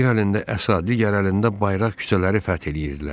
Bir əlində əsa, digər əlində bayraq küçələri fəth eləyirdilər.